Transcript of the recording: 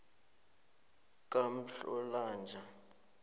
kamhlolanja